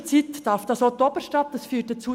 In der Zwischenzeit darf das auch die Oberstadt.